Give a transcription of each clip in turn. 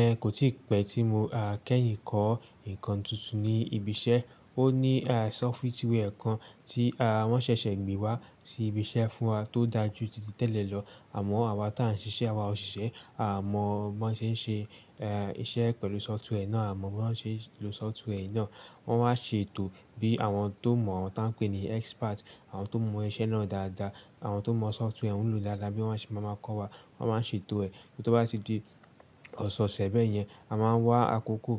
Ẹ kò tí pẹ́ tí mo kẹ́yìn kọ́ nǹkan tuntun ní ibi iṣẹ́. Ó ní software kan tí wọ́n ṣẹ̀ṣẹ̀ gbé wá sí ibi iṣẹ́ fún wa tó dá jú títí tẹ̀lẹ́ lọ. Àmọ́ àwa tí à ń ṣiṣẹ́, àwa òṣìṣẹ́, à mọ̀ bí wọ́n ṣe ń ṣe iṣẹ́ pẹ̀lú software náà, à mọ̀ bí wọ́n ṣe ń lo software yìí náà. Wọ́n wáa ń ṣe ètò bí àwọn tó mọ̀, àwọn ta ń pè ní expert, àwọn tó mọ iṣẹ́ náà dáadáa, àwọn tó mọ software oun lo dádá bí wọ́n ṣe máa máa kọ́ wa. Wọ́n máa ń ṣe ètò ẹ̀ tí ó bá ti di ọ̀ṣọ̀ọ̀ṣẹ̀ bẹ́ẹ̀ yẹn, a máa wá àkókò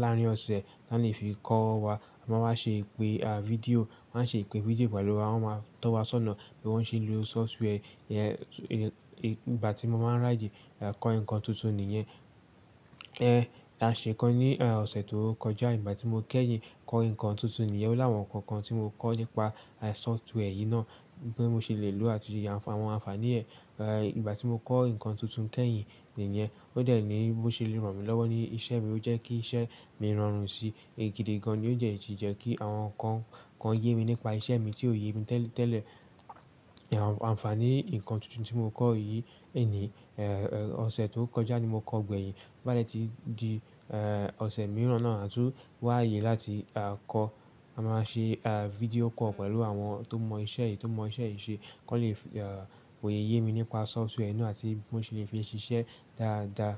láàárín ọ̀ṣẹ̀ láti fi kọ́ wa. A máa wá ṣe ìpè fídíò, wọ́n á ṣe ìpè fídíò pẹ̀lú wa, wọ́n máa tọ́ wa sọ́nà bí wọ́n ṣe ń lo software yẹn. Ìgbà tí mo máa ń ráyè kọ́ nǹkan tuntun nìyẹn. Ẹ aa se kan ní ọ̀ṣẹ̀ tó kọjá, ìgbà tí mo kẹ́yìn kọ́ nǹkan tuntun nìyẹn. Ó láwọn nǹkan kan tí mo kọ́ nípa software yìí náà bí mo ṣe lè lò ó àti àwọn ànfàní ẹ̀. Ìgbà tí mo kọ́ nǹkan tuntun kẹ́yìn nìyẹn, ó de ní bó ṣe lè ràn mí lọ́wọ́ ní iṣẹ́ mi, ó jẹ́ kí iṣẹ́ mi rọrùn sí èyí gidi gan-an, ó dẹ̀ sì jẹ́ kí àwọn nǹkan kan yé mi nípa iṣẹ́ mi tí ò yé mi tẹ́lẹ̀-tẹ́lẹ̀. Ànfàní nǹkan tuntun tí mo kọ́ yìí nìí, ọ̀ṣẹ̀ tó kọjá ni mo kọ́ gbẹ̀yìn. Bá dè tí di ọ̀ṣẹ̀ miíràn náà, a tún wá aye láti kọ́. A máa ṣe fídíò call pẹ̀lú àwọn tó mọ iṣẹ́ yìí, tó mọ iṣẹ́ yìí ṣe kó lè fọ̀ye yé mi nípa software yii na àti bó ṣe lè fi ṣiṣẹ́ dáadáa.